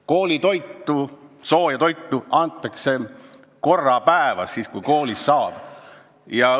Sooja toitu saavad nad korra päevas, siis, kui koolis seda antakse.